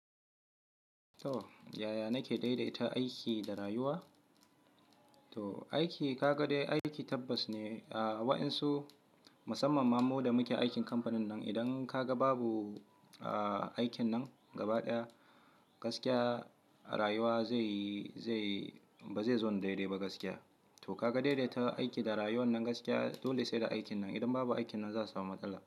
Yaya nake daidaita aiki da rayuwa? Aiki kagade aiki tabbas ne waɗansu musamman ma mu da muke aikin kamfanin nan idan kaga babu aikin nan gaba ɗaya gaskiya rayuwa ba zai zon dai dai ba gaskiya. To kaga daidaita aiki da rayuwa nan gaskiya dole sai da aikin nan idan babu aikin nan za a samu matsala.